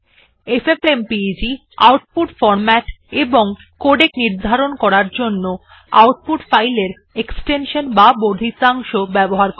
FFmpeg output format এবং codec নির্ধারণ করতে আউটপুট ফাইলের এক্সটেনশন বা বর্ধিতাংশ ব্যবহার করে